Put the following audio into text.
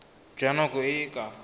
jwa nako e e ka